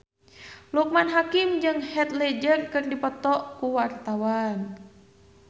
Loekman Hakim jeung Heath Ledger keur dipoto ku wartawan